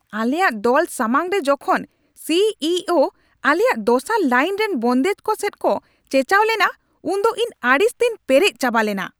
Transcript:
ᱟᱞᱮᱭᱟᱜ ᱫᱚᱞ ᱥᱟᱢᱟᱝ ᱨᱮ ᱡᱚᱠᱷᱚᱱ ᱥᱤ ᱤ ᱳ ᱟᱞᱮᱭᱟᱜ ᱫᱚᱥᱟᱨ ᱞᱟᱭᱤᱱ ᱨᱮᱱ ᱵᱚᱱᱫᱮᱡ ᱠᱚ ᱥᱮᱫ ᱠᱚ ᱪᱮᱪᱟᱣ ᱞᱮᱱᱟ ᱩᱱ ᱫᱚ ᱤᱧ ᱟᱹᱲᱤᱥ ᱛᱤᱧ ᱯᱮᱨᱮᱡ ᱪᱟᱵᱟ ᱞᱮᱱᱟ ᱾